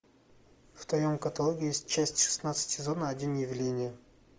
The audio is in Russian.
в твоем каталоге есть часть шестнадцать сезона один явление